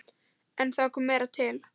En það kom meira til.